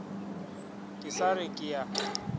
ke sa re ke a